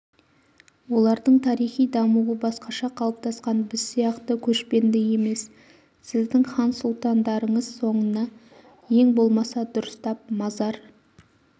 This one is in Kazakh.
олардың тарихи дамуы басқаша қалыптасқан біз сияқты көшпенді емес сіздің хан-сұлтандарыңыз соңына ең болмаса дұрыстап мазар